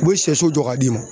U be sɛso jɔ ka d'i ma